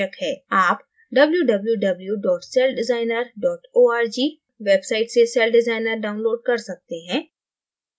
आप www celldesigner org website से celldesigner download कर सकते हैं